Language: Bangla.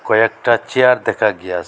আর একটা চেয়ার দেখা গিয়াস--